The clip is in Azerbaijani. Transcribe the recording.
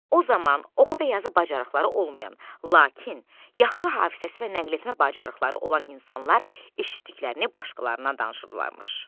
O zaman, oxu və yazı bacarıqları olmayan, lakin yaxşı hafizəsi və nəqletmə bacarıqları olan insanlar eşitdiklərini başqalarına danışırlarmış.